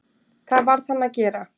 Það varð hann að gera.